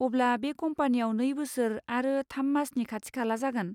अब्ला, बे कम्पानियाव नै बोसोर आरो थाम मासनि खाथिखाला जागोन?